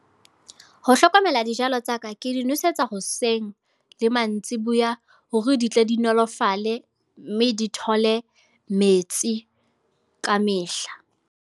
Ho hlokomela dijalo tsa ka. Ke dinosetsa hoseng, le mantsiboya. Hore di tle di nolofale mme di thole metsi kamehla.